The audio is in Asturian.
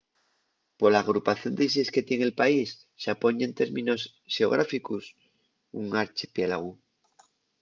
pola agrupación d'islles que tien el país xapón ye en términos xeográficos un archipiélagu